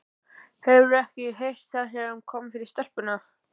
Hefurðu ekki heyrt það sem kom fyrir stelpuna á